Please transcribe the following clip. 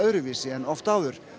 öðruvísi en oft áður